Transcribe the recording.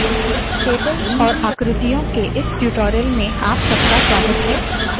tables और आकृतियों के इस tutorial में आप सबका स्वागत है